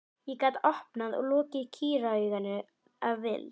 Ég gat opnað og lokað kýrauganu að vild.